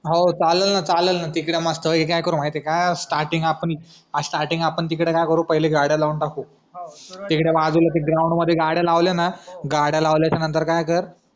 हो चाललं ना चाललं ना तिकडं मस्त पैकी काय करू माहितीए का स्टार्टींग आपण स्टार्टींग आपण तिकडे काय करूपहिले गाड्या लावून टाकू तिकडे बाजूला ते ग्राउंड मध्ये गाड्या लावल्या ना गाड्या लावल्याचं यानंतर काय कर